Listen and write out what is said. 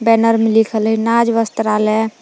Banner मे लिखल है नाज वस्त्रालय।